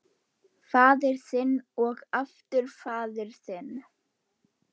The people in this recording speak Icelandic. Faðir þinn og aftur faðir þinn.